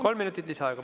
Kolm minutit lisaaega.